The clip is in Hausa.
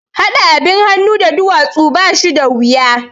Haɗa abin hannun da duwatsu ba shi da wuya